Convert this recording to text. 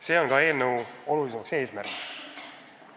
See on ka eelnõu tähtis eesmärk.